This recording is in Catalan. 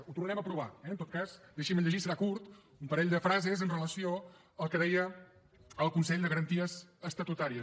ho tornarem a provar eh en tot cas deixin me llegir serà curt un parell de frases amb relació al que deia el consell de garanties estatutàries